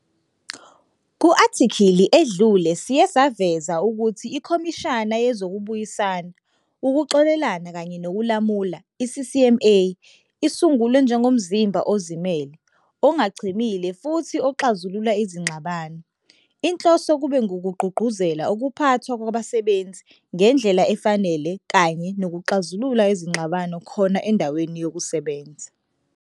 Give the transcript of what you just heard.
Ku-athikhili edlule siye saveza ukuthi iKhomishani yeZokubuyisana, Ukuxolelana kanye nokuLamula, i-CCMA, isungulwe njengomzimba ozimele, ongachemile futhi oxazulula izingxabano. Inhloso kube ngukugqugquzela ukuphathwa kwabasebenzi ngendlela efanele kanye nokuxazulula izingxabano khona endaweni yokusebenza.